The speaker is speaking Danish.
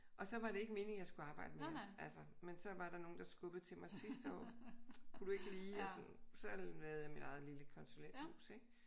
Og så var det ikke meningen at jeg skulle arbejde mere altså men så var der nogen der skubbede til mig sidste år kunne du ikke lige? Og sådan. Så har jeg lavet mit eget lille konsulenthus ik?